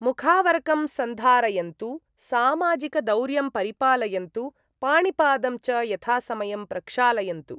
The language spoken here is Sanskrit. मुखावरकं सन्धारयन्तु सामाजिकदौर्यं परिपालयन्तु, पाणिपादं च यथासमयं प्रक्षालयन्तु।